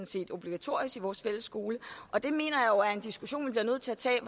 set obligatorisk i vores fælles skole og det mener jeg er en diskussion vi bliver nødt til at tage